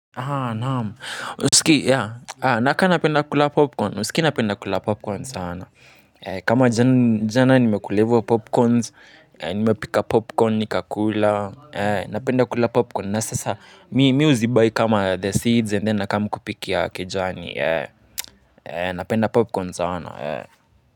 Naam husikii yaa nakaa napenda kula popcorn husikii napenda kula popcorn sana kama jana nime kula hivyo popcorns nime pika popcorn ni kakula napenda kula popcorn nasasa me huzi buy kama the seeds and then na come kupikia kijani napenda popcorn sana Muzika.